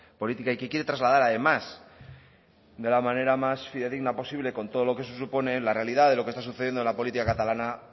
política y que quiere trasladar además de la manera fidedigna posible con todo lo que eso supone la realidad de lo que está sucediendo en la política catalana